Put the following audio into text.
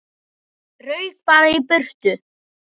Rauk bara í burtu.